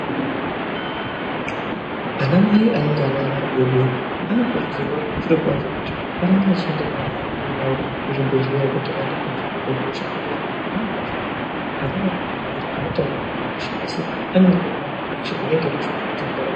Ana mai anenge varivana vadoodori vanokurudzirwa zvirokwazvo kuti varambe vachienda nevana adodori kuzvibhehlera kuti vandoongororwa hosha ngekuti pamweni pacho ana adodori havatauri asipamweni pacho vane ge vatori nehosha inenge yeitoshungurudza ndaramo yavo.